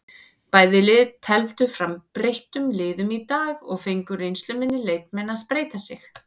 Bæði lið tefldu fram breyttum liðum í dag og fengu reynsluminni leikmenn að spreyta sig.